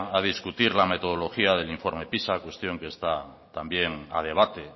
a discutir la metodología del informe pisa cuestión que está también a debate